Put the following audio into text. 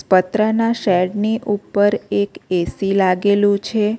પતરા ના શેડની ઉપર એક એ_સી લાગેલું છે.